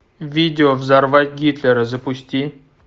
видео взорвать гитлера запусти